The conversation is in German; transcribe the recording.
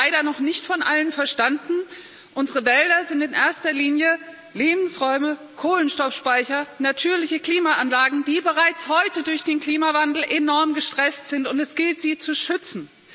Es ist leider noch nicht von Allen verstanden Unsere Wälder sind in erster Linie Lebensräume, Kohlenstoffspeicher, natürliche Klimaanlagen, die bereits heute durch den Klimawandel enorm gestresst sind, und es gilt sie zu schützen.